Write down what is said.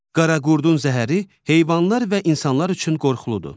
Qaraqurdun zəhəri heyvanlar və insanlar üçün qorxuludur.